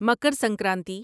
Makar Sankranti